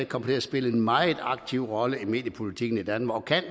kommer til at spille en meget aktiv rolle i mediepolitikken i danmark og kan